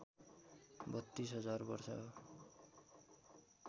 ३२ हजार वर्ष हो